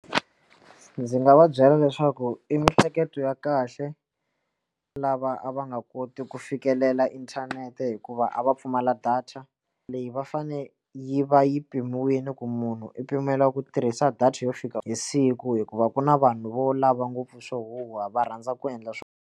Ndzi nga va byela leswaku i miehleketo ya kahle lava a va nga koti ku fikelela inthanete hikuva a va pfumala data leyi va fane yi va yi mpimiwile ku munhu i pimela ku tirhisa data yo fika hi siku hikuva ku na vanhu vo lava ngopfu swo huhwa va rhandza ku endla swona.